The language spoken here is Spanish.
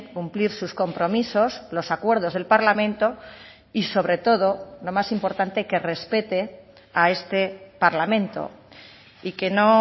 cumplir sus compromisos los acuerdos del parlamento y sobre todo lo más importante que respete a este parlamento y que no